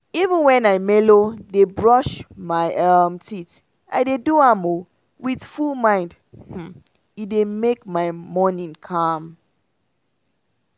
even when i melow dey brush my um teeth i dey do am um with full mind um — e dey make my morning calm.